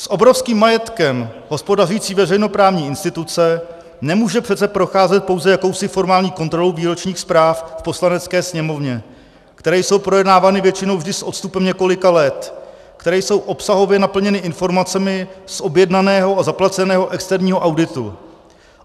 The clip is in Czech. S obrovským majetkem hospodařící veřejnoprávní instituce nemůže přece procházet pouze jakousi formální kontrolou výročních zpráv v Poslanecké sněmovně, které jsou projednávány většinou vždy s odstupem několika let, které jsou obsahově naplněny informacemi z objednaného a zaplaceného externího auditu.